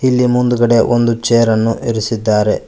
ಇಲ್ಲಿ ಮುಂದುಗಡೆ ಒಂದು ಚೇರ್ ಅನ್ನು ಇರಿಸಿದ್ದಾರೆ.